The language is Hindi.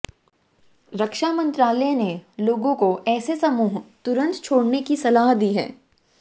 रक्षा मंत्रालय ने लोगों को ऐसे समूह तुरंत छोड़ने की सलाह दी है